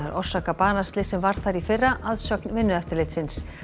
orsaka banaslyss sem varð við þar í fyrra að sögn Vinnueftirlitsins